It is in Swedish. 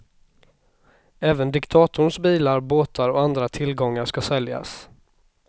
Även diktatorns bilar, båtar och andra tillgångar ska säljas.